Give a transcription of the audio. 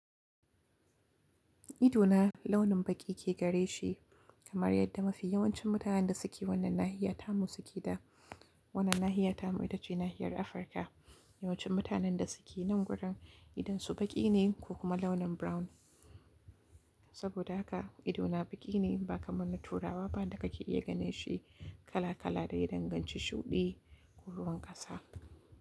Ido na launin baƙi ke gare shi kamar yadda mafi yawancin mutanen da suke wannan nahiya tamu suke da wannan nahiya tamu ita ce nahiyar Afirka. Yawancin mutanen da suke nan wurin idonsu baƙi ne ko kuma launin brown. Saboda haka ido na baƙi ne ba kamar na Turawa ba da ka ke iya ganin shi kala kala da ya danganci shuɗi ko ruwan ƙasa.